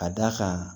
Ka d'a kan